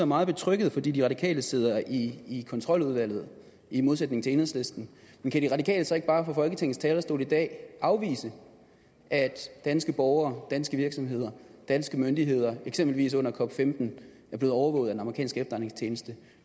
meget betrygget fordi de radikale sidder i kontroludvalget i modsætning til enhedslisten men kan de radikale så ikke bare fra folketingets talerstol i dag afvise at danske borgere danske virksomheder danske myndigheder eksempelvis under cop15 er blevet overvåget af den amerikanske efterretningstjeneste